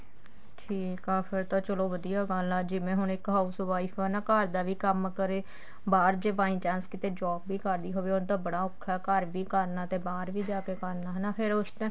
ਠੀਕ ਆ ਫੇਰ ਤਾਂ ਚਲੋ ਵਧੀਆ ਗੱਲ ਆ ਜਿਵੇਂ ਹੁਣ ਇੱਕ house wife ਆ ਨਾ ਘਰ ਦਾ ਵੀ ਕੰਮ ਕਰੇ ਬਾਹਰ ਜੇ by chance ਕਿੱਥੇ job ਵੀ ਕਰਦੀ ਹੋਵੇ ਉਹਦਾ ਤਾਂ ਬੜਾ ਔਖਾ ਘਰ ਵੀ ਕਰਨਾ ਤੇ ਬਾਹਰ ਵੀ ਜਾ ਕੇ ਕਰਨਾ ਹਨਾ ਤੇ ਫੇਰ ਉਸ ਤੇ